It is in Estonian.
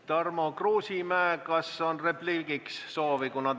Tarmo Kruusimäe, kas soovite repliigi öelda?